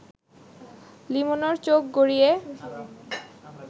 লিমনের চোখ গড়িয়ে